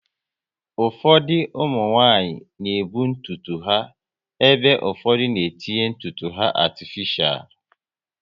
Ụfọdụ ụmụnwanyị na ebu ntutu ha ebe ụfọdụ n'etinye ntutu atifishal